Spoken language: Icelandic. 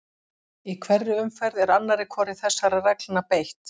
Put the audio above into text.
Í hverri umferð er annarri hvorri þessara reglna beitt.